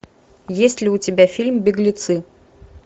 есть ли у тебя фильм беглецы